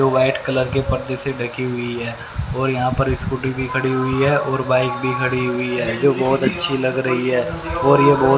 white colour के पर्दे से ढकी हुई है और यहां पर स्कूटी भी खड़ी हुई है और बाइक भी खड़ी हुई है जो बहुत अच्छी लग रही है और यह बहु--